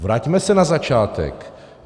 Vraťme se na začátek!